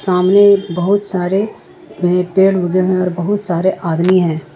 सामने बहुत सारे पेड़ उगे हैं और बहुत सारे आदमी हैं।